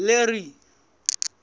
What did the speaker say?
larry